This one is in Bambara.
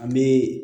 An bɛ